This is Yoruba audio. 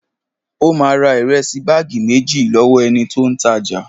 Ó máa ra ìrẹsì báàgì méjì lọ́wọ́ ẹni tó ń ta jà